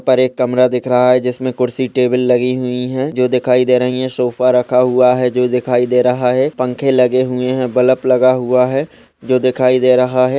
एक कमरा दिख रहा है जिसमे कुर्सी टेबल लगी हुई है जो दिखाई दे रही है सोफा रखा हुआ है जो दिखाई दे रहा है पंखे लगे हुए हैं बलप लगा हुआ है जो दिखाई दे रहा है।